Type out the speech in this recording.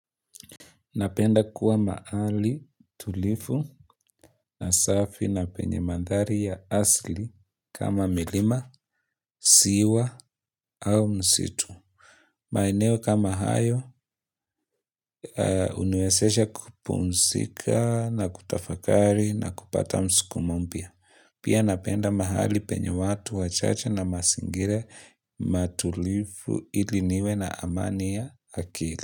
Napenda kuwa mahali tulivu na safi na penye mandhari ya asili kama milima, ziwa au msitu. Maeneo kama hayo, huniwezesha kupumzika na kutafakari na kupata msukumo mpya. Pia napenda mahali penye watu wachache na mazingira matulivu ili niwe na amani ya akili.